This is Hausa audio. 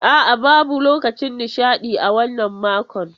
A'a, babu lokacin nishaɗi a wannan makon.